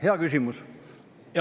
Hea küsimus.